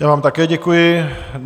Já vám také děkuji.